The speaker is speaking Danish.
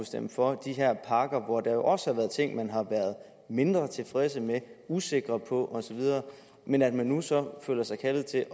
stemme for de her pakker hvor der jo også har været ting man har været mindre tilfredse med usikre på osv men at man så nu føler sig kaldet til